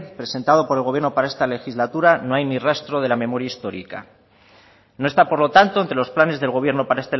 presentado por el gobierno para esta legislatura no hay ni rastro de la memoria histórica no está por lo tanto entre los planes del gobierno para